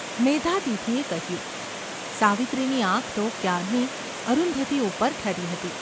’ મેધાતિથિએ કહ્યું. સાવિત્રીની આંખ તો ક્યારની અરુંધતી ઉપર ઠરી હતી.